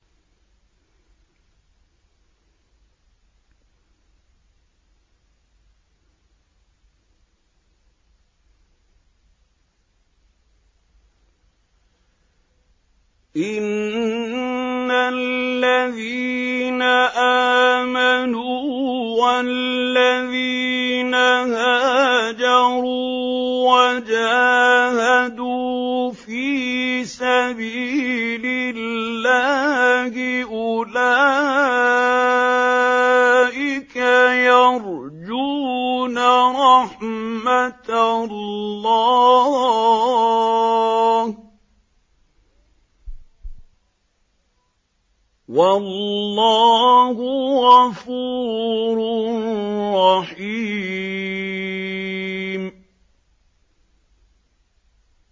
إِنَّ الَّذِينَ آمَنُوا وَالَّذِينَ هَاجَرُوا وَجَاهَدُوا فِي سَبِيلِ اللَّهِ أُولَٰئِكَ يَرْجُونَ رَحْمَتَ اللَّهِ ۚ وَاللَّهُ غَفُورٌ رَّحِيمٌ